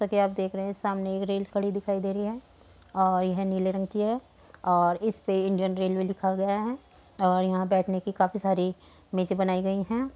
जैसा की आप देख रहे है सामने एक रेल खड़ी दिखाई दे रही है और यह नीले रंग की है और इसपे इंडियन रेलवे लिखा गया है और यहाँ बैठने की काफी सारी बेंचे बनाई गई है।